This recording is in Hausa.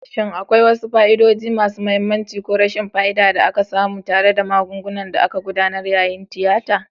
Shin akwai wasu fa'idodi masu mahimmanci ko rashin fa'ida da aka samu tare da magungunan da aka gudanar yayin tiyata?